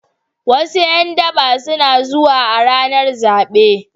Wasu ’yan daba suna zuwa a ranar zabe.